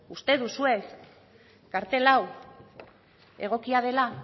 uste duzue kartel hau egokia dela